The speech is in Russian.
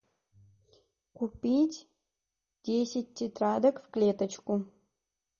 купить десять тетрадок в клеточку